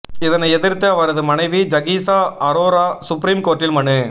இதனை எதிர்த்து அவரது மனைவி ஜகீசா அரோரா சுப்ரீம் கோர்ட்டில் மனு